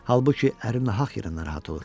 Halbuki əri nahaq yerə narahat olur.